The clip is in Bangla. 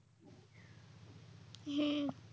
হ্যাঁ